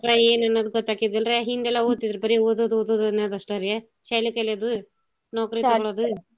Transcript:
ಏನ್ ಅನ್ನೋದ್ ಗೊತ್ತಾಕ್ಕಿದಿಲ್ರಾ ಹಿಂದೆಲ್ಲಾ ಓದ್ತಿದ್ರು ಬರೀ ಓದೋದ್ ಓದೋದ್ ಅನ್ನೋದಷ್ಟರೀ ಶಾಲಿ ಕಲ್ಯೋದೂ .